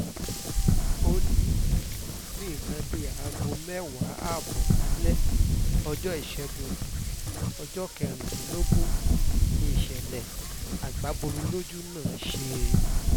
ó ní ní nǹkan bíi aago mẹ́wàá ààbọ̀ alẹ́ ọjọ́ ìṣẹ́gun ọjọ́ kẹrìndínlógún ni ìṣẹ̀lẹ̀ agbo bọmi lójú náà ṣe